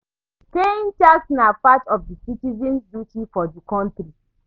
Paying tax na part of di citizens duty for di country